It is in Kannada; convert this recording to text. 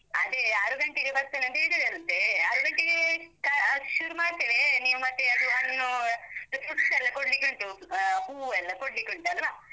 ಅದೇ, ಆರು ಗಂಟೆಗೆ ಬರ್ತೇನಂತ ಹೇಳಿದರಂತೇ. ಆರು ಗಂಟೆಗೇ ಆ ಶುರು ಮಾಡ್ತೇವೆ. ನೀವು ಮತ್ತೆ ಅದು ಹಣ್ಣೂ, fruits ಎಲ್ಲ ಕೊಡ್ಲಿಕ್ಕುಂಟು, ಹ ಹೂ ಎಲ್ಲ ಕೊಡ್ಲಿಕ್ಕುಂಟಲ್ವ?